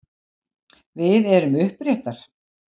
Við erum uppréttar.